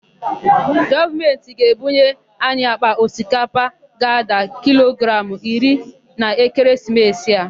Gọọmentị ga-ebunye anyi àkpà osikapa ga-ada kilogramụ iri n'ekeresimesi a.